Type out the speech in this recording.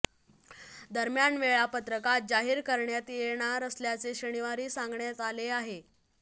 दरम्यान वेळापत्रक आज जाहीर करण्यात येणार असल्याचे शनिवारी सांगण्यात आले आहे